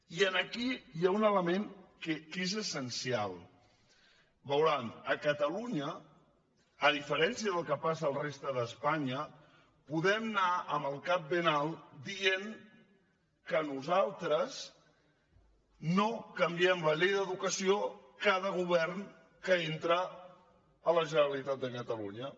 i aquí hi ha un element que és essencial veuran a catalunya a diferència del que passa a la resta d’espanya podem anar amb el cap ben alt dient que nosaltres no canviem la llei d’educació amb cada govern que entra a la generalitat de catalunya